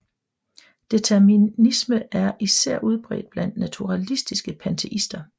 Determinisme er især udbredt blandt naturalistiske panteister